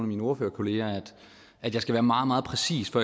mine ordførerkolleger at jeg skal være meget meget præcis for